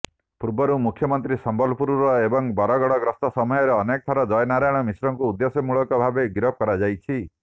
ପୂର୍ବରୁ ମୁଖ୍ୟମନ୍ତ୍ରୀ ସମ୍ବଲପୁର ଏବଂ ବରଗଡ ଗସ୍ତ ସମୟରେ ଅନେକଥର ଜୟନାରାୟଣ ମିଶ୍ରଙ୍କୁ ଉଦ୍ଦେଶ୍ୟମୂଳକ ଭାବେ ଗିରଫ କରାଯାଇଛି